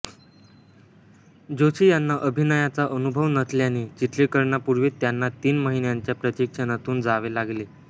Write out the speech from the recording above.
जोशी यांना अभिनयाचा अनुभव नसल्याने चित्रीकरणापूर्वी त्यांना तीन महिन्यांच्या प्रशिक्षणातून जावे लागले